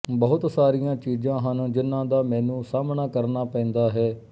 ਬਹੁਤ ਸਾਰੀਆਂ ਚੀਜ਼ਾਂ ਹਨ ਜਿਹਨਾਂ ਦਾ ਮੈਨੂੰ ਸਾਹਮਣਾ ਕਰਨਾ ਪੈਂਦਾ ਹੈ